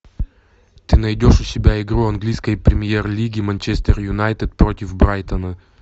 ты найдешь у себя игру английской премьер лиги манчестер юнайтед против брайтона